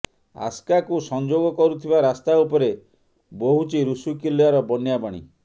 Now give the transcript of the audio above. ଆସ୍କାକୁ ସଂଯୋଗ କରୁଥିବା ରାସ୍ତା ଉପରେ ବୋହୁଛି ରୁଷିକୁଲ୍ୟାର ବନ୍ୟା ପାଣି